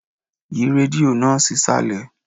Yí rédíò náà sísàlẹ̀.!